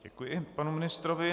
Děkuji panu ministrovi.